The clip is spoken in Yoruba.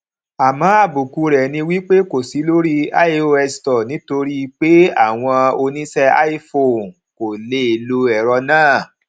àmọ àbùkù rẹ ni wípé kò sí lórí ios store nítorí pé àwọn oníṣe iphone kò lè lo ẹrọ náà